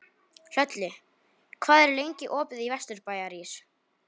Hlölli, hvað er lengi opið í Vesturbæjarís?